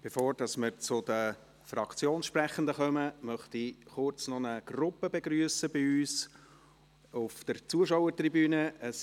Bevor wir zu den Fraktionssprechenden kommen, möchte ich noch kurz eine Gruppe bei uns auf der Zuschauertribüne begrüssen.